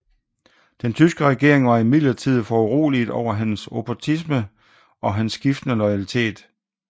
Den tyske regering var imidlertid foruroliget over hans opportunisme og hans skiftende loyalitet